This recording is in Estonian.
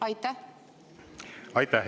Aitäh!